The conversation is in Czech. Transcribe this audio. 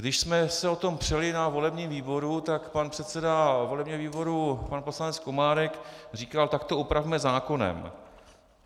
Když jsme se o tom přeli na volebním výboru, tak pan předseda volebního výboru pan poslanec Komárek říkal: tak to upravme zákonem.